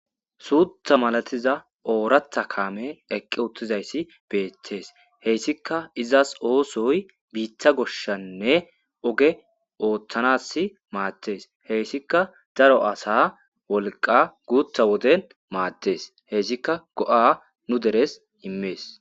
Suxa mala tizza oratha kamey eqi utidas bettes heyssika izzas osoy bita goshasinne oge loythanas madees haysaka daro asa wolqa gutha woden madees hesikka go'a nuderes imees.